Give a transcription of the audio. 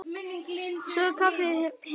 Svo kleif hann aftur heim.